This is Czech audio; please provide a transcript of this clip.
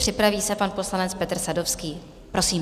Připraví se pan poslanec Petr Sadovský, prosím.